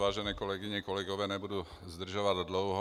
Vážené kolegyně, kolegové, nebudu zdržovat dlouho.